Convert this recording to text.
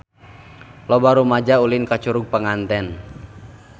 Loba rumaja ulin ka Curug Panganten